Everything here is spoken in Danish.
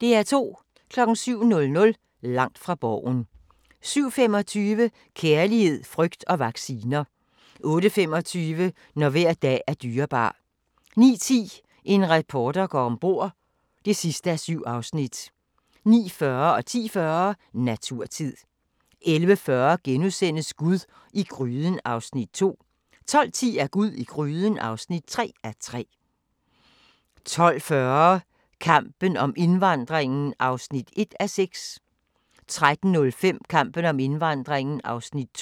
07:00: Langt fra Borgen 07:25: Kærlighed, frygt og vacciner 08:25: Når hver dag er dyrebar 09:10: En reporter går om bord (7:7) 09:40: Naturtid 10:40: Naturtid 11:40: Gud i gryden (2:3)* 12:10: Gud i gryden (3:3) 12:40: Kampen om indvandringen (1:6) 13:05: Kampen om indvandringen (2:6)